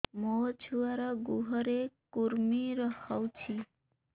ମୋ ଛୁଆର୍ ଗୁହରେ କୁର୍ମି ହଉଚି